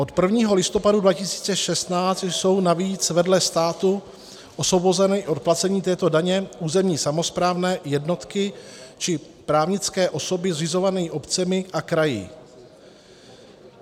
Od 1. listopadu 2016 jsou navíc vedle státu osvobozeny od placení této daně územní samosprávné jednotky či právnické osoby zřizované obcemi a kraji.